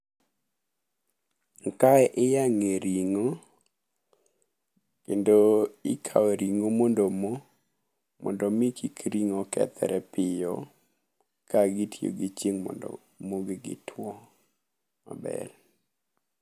Kae iyang'e ring'o kendo ikawe ring'o mondo omo, mondo mi kik ring'o kethre piyo ka gitiyo gi chieng' mondo mogi gitwo maber.